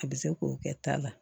A bɛ se k'o kɛ ta la